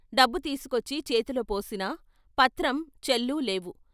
డబ్బు తీసుకొచ్చి చేతులో పోసినా, పత్రం, చెల్లు లేవు.